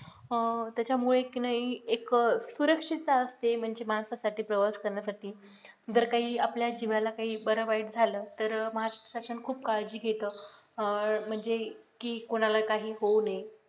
अह त्याच्यामुळे की नाही एकच सुरक्षितता असते म्हणजे माणसासाठी प्रवास करण्यासाठी जर काही आपल्या जीवाला काही बरं वाईट झालं तर महाराष्ट्र श्यासन खूप काळजी घेतो अह म्हणजे की कोणाला काही होवू नये